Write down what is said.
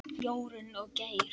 Jórunn og Geir.